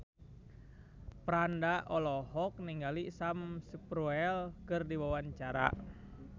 Franda olohok ningali Sam Spruell keur diwawancara